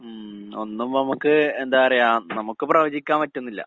ഉം ഒന്നും ഇപ്പ ഇമ്മക്ക് എന്താ പറയാ നമ്മക്ക് പ്രവചിക്കാൻ പറ്റുന്നില്ല.